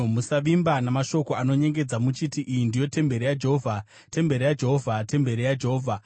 Musavimba namashoko anonyengedza muchiti, “Iyi ndiyo temberi yaJehovha, temberi yaJehovha, temberi yaJehovha!”